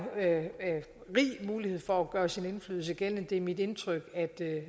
mulighed for at gøre sin indflydelse gældende det er mit indtryk at